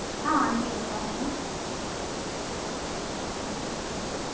ஆஹ் அனுப்பிட்டேன். mam பாருங்க mam okay mam